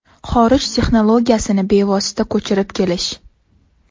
Xorij texnologiyasini bevosita ko‘chirib kelish .